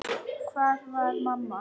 Hvar var mamma?